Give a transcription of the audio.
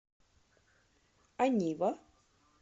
анива